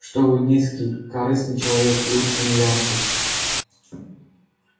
что вы низкий корыстный человек лучше не янки